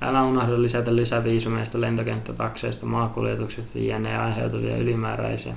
älä unohda lisätä lisäviisumeista lentokenttätakseista maakuljetuksesta jne aiheutuvia ylimääräisiä